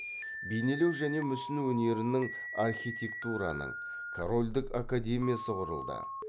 бейнелеу және мүсін өнерінің архитектураның корольдік академиясы құрылды